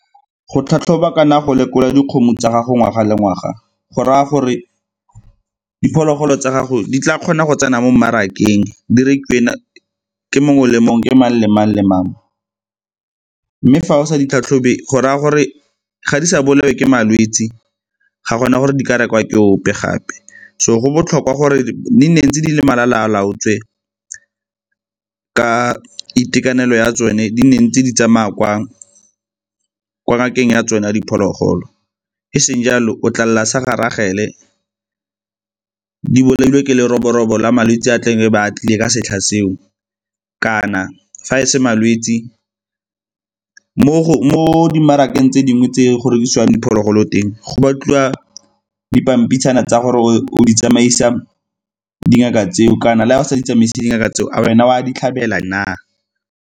Go tlhatlhoba kana go lekola dikgomo tsa gago ngwaga le ngwaga go raya gore diphologolo tsa gago di tla kgona go tsena mo mmarakeng di rekiwe ke mongwe le mongwe ke mang le mang le mang. Mme fa o sa di tlhatlhobe go raya gore ga di sa bolawe ke malwetse ga gona gore di ka rekwa ke ope gape. So, go botlhokwa gore di nne ntse dile malala a laotswe ka itekanelo ya tsone di ntse di tsamaya kwa ngakeng ya tsone ya diphologolo, e seng jalo o tla lela sa ga Rachel-e di bolailwe ke leroborobo la malwetse a a tlebe a tlile ka setlha seo. Kana, fa e se malwetse, mo di mmarakeng tse dingwe tse go rekisiwang diphologolo teng go batliwa dipampitshana tsa gore o di tsamaisa dingaka tseo kana le ga o sa di tsamaise dingaka tseo a wena o a di tlhabela na?